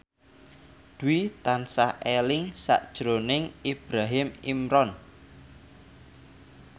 Dwi tansah eling sakjroning Ibrahim Imran